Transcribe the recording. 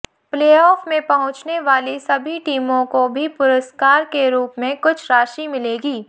playoff में पहुंचने वाली सभी टीमों को भी पुरस्कार के रूप में कुछ राशि मिलेगी